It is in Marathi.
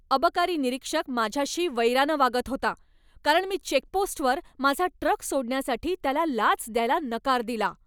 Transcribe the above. अबकारी निरीक्षक माझ्याशी वैराने वागत होता, कारण मी चेकपोस्टवर माझा ट्रक सोडण्यासाठी त्याला लाच द्यायला नकार दिला.